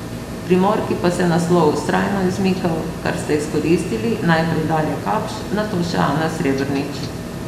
Primorki pa se je naslov vztrajno izmikal, kar sta izkoristili, najprej Darja Kapš, nato še Ana Srebrnič.